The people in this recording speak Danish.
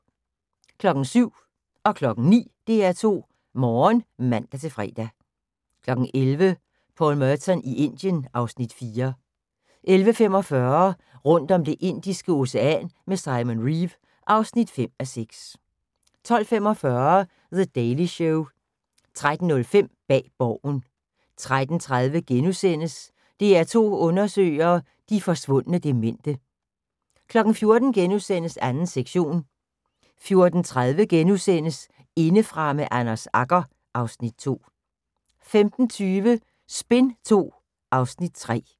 07:00: DR2 Morgen (man-fre) 09:00: DR2 Morgen (man-fre) 11:00: Paul Merton i Indien (Afs. 4) 11:45: Rundt om Det indiske Ocean med Simon Reeve (5:6) 12:45: The Daily Show 13:05: Bag Borgen 13:30: DR2 undersøger – de forsvundne demente * 14:00: 2. sektion * 14:30: Indefra med Anders Agger (Afs. 2)* 15:20: Spin II (Afs. 3)